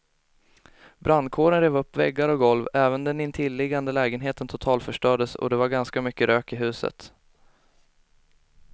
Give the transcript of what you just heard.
Brandkåren rev upp väggar och golv, även den intilliggande lägenheten totalförstördes och det var ganska mycket rök i huset.